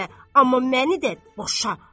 Amma məni də boşa.